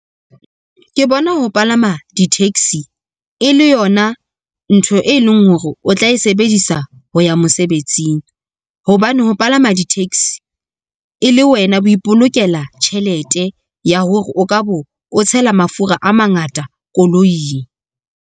Ke bona ho palama di-taxi e le yona ntho e leng hore o tla e sebedisa ho ya mosebetsing. Hobane ho palama di-taxi, e le wena o ipolokela tjhelete ya hore o ka bo o tshela mafura a mangata koloing.